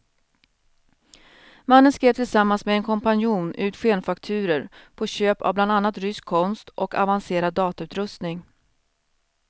Mannen skrev tillsammans med en kompanjon ut skenfakturor på köp av bland annat rysk konst och avancerad datautrustning.